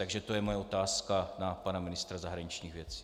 Takže to je moje otázka na pana ministra zahraničních věcí.